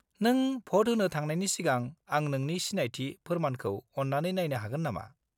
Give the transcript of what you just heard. -नों भ'ट होनो थांनायनि सिगां आं नोंनि सिनायथि फोरमानखौ अन्नानै नायनो हागोन नामा?